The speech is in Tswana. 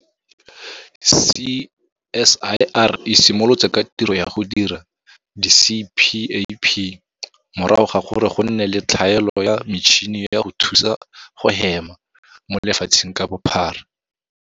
CSIR e simolotse ka tiro ya go dira di-CPAP morago ga gore go nne le tlhaelo ya metšhini ya go thusa go hema mo lefatsheng ka bophara.